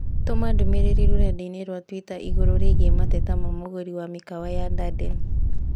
tũma ndũmīrīri rũrenda-inī rũa tũita igũrũ rĩgiĩ mateta ma mũgũri wa mĩ kawa ya Darden